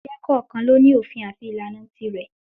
Ẹgbẹ́ kọ̀ọ̀kan ló ní òfin àti ìlànà tirẹ̀.